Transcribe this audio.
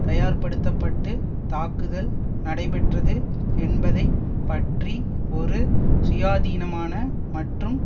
தயார்படுத்தப்பட்டு தாக்குதல் நடைபெற்றது என்பதை பற்றி ஒரு சுயாதீனமான மற்றும்